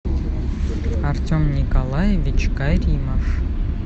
артем николаевич каримов